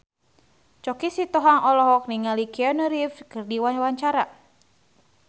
Choky Sitohang olohok ningali Keanu Reeves keur diwawancara